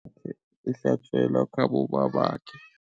Ihlatjelwa khabo babakhe.